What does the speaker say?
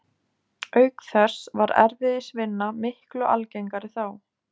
Auk þess var erfiðisvinna miklu algengari þá.